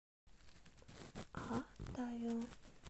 а тавио